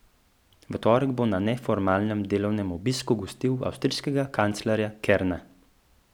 V torek bo na neformalnem delovnem obisku gostil avstrijskega kanclerja Kerna.